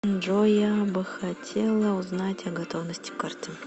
джой я бы хотела узнать о готовности карты